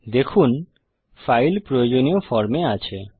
দেখুনফাইল প্রয়োজনীয় ফর্ম-এ আছে